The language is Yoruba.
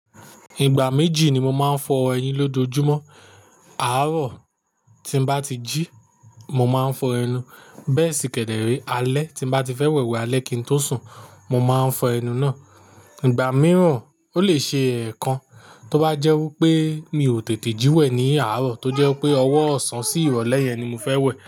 Ìgbà méjì ni mo máa ń fọ ẹyin lojoojumo. Àárọ̀ tí n bá ti jí, mo máa ń fọ ẹnu bẹ́ẹ̀ sí kẹ̀dẹ̀ẹ̀rẹ̀ alẹ́ tí n bá ti fẹ́ wẹ̀wẹ̀ alẹ́ kin tó sùn mo máa ń fọ ẹnu náà. Ìgbà mìíràn ó lè ṣe ẹ̀ẹ̀kan, tó bá jẹ́ wípé mi ò tètè jí wẹ̀ ní àárọ̀ tó jẹ́ wípé ọwọ́ ọ̀sán sí ìrọ̀lẹ́ yẹn ni mo fẹ́ wẹ̀.